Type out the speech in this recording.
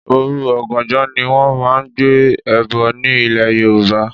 Òru oganjo ni wón máa ń gbé ẹbọ ní ilè Yorùbá.